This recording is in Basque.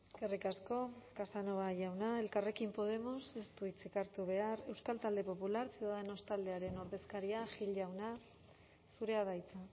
eskerrik asko casanova jauna elkarrekin podemos ez du hitzik hartu behar euskal talde popular ciudadanos taldearen ordezkaria gil jauna zurea da hitza